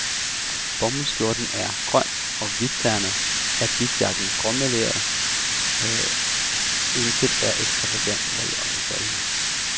Bomuldsskjorten er grøn og hvidternet, habitjakken gråmeleret, intet er ekstravagant eller iøjnefaldende.